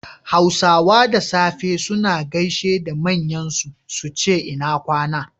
Hausawa da safe suna gaishe da manyan su, suce ina kwAna